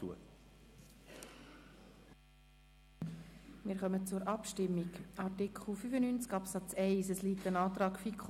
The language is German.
Wir kommen zur Abstimmung betreffend Artikel 95 Absatz 1.